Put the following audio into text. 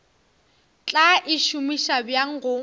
tla e šomiša bjang go